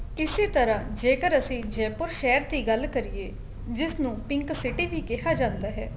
ਇਸੇ ਤਰ੍ਹਾਂ ਜੇਕਰ ਅਸੀਂ জয়পুৰ ਸ਼ਹਿਰ ਦੀ ਗੱਲ ਕਰੀਏ ਜਿਸ ਨੂੰ pink city ਵੀ ਕਿਹਾ ਜਾਂਦਾ ਹੈ